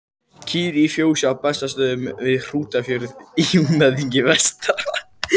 Kýr í fjósi á Bessastöðum við Hrútafjörð í Húnaþingi vestra.